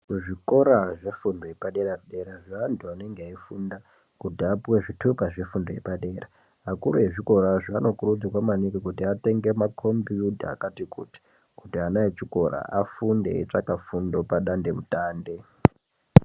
Kuzvikora zvefundo yepadera dera zveantu vanenge veifunda kuti vapuwe zvithupa zvefundo yepadera, akuru ezvikorazvo anokurudzirwa maningi kuti atenge makhombiyuta akati kuti, kuti ana echikora afunde eitsvaka fundo padatemutande.